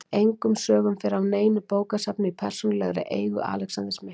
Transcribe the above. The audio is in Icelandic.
Engum sögum fer af neinu bókasafni í persónulegri eigu Alexanders mikla.